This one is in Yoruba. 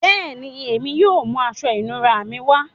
Bẹẹni, èmi yóò mú àṣọ ìnúrà mí wá.